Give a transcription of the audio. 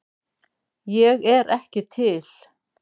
Ég er ekki til